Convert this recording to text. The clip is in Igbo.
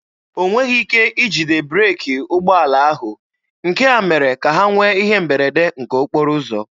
O nweghị ike ijide breeki ụgbọala ahụ, nke a mere ka ha nwee ihe mberede nke okporo ụzọ.